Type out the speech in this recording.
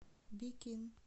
бикин